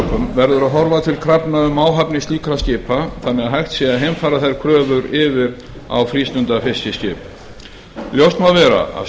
verður að horfa til krafna um áhafnir slíkra skipa þannig að hægt sé að heimfæra þær kröfur yfir á frístundafiskiskip ljóst má vera að